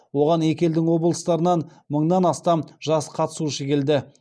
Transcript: оған екі елдің облыстарынан мыңнан астам жас қатысушы келді